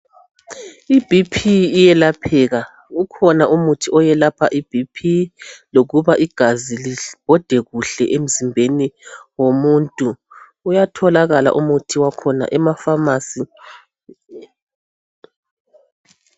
IBP iyelapheka ukhona umuthi owelapha iBP lokuba igazi ibode kuhle emzimbeni womuntu uyatholakala umuthi wakhona emafamasi